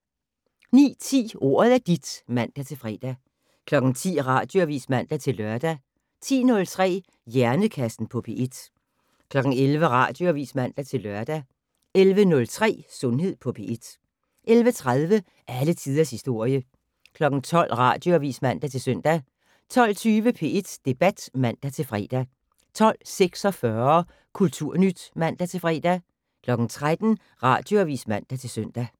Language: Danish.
09:10: Ordet er dit (man-fre) 10:00: Radioavis (man-lør) 10:03: Hjernekassen på P1 11:00: Radioavis (man-lør) 11:03: Sundhed på P1 11:30: Alle tiders historie 12:00: Radioavis (man-søn) 12:20: P1 Debat (man-fre) 12:46: Kulturnyt (man-fre) 13:00: Radioavis (man-søn)